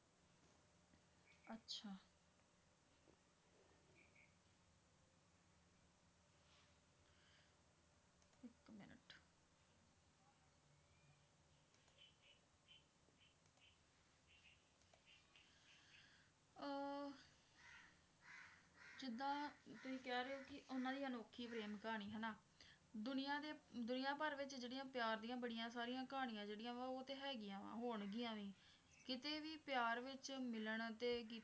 ਆਹ ਜਿਦਾਂ ਤੁਸੀ ਕਹਿ ਰਹੇ ਹੋ ਕੀ ਉਹਨਾਂ ਦੀ ਅਨੌਖੀ ਪ੍ਰੇਮ ਕਹਾਣੀ ਹਨਾਂ ਦੁਨੀਆਂ ਦੇ ਦੁਨੀਆਂ ਭਰ ਵਿੱਚ ਜਿਹੜੀਆਂ ਪਿਆਰ ਦੀਆਂ ਬੜੀਆਂ ਸਾਰੀਆਂ ਕਹਾਣੀਆਂ ਜਿਹੜੀਆਂ ਵਾ ਉਹ ਤਾਂ ਹੈਗੀਆਂ ਵਾ ਹੋਣਗੀਆਂ ਵੀ ਕਿਤੇ ਵੀ ਪਿਆਰ ਵਿੱਚ ਮਿਲਣ ਤੇ,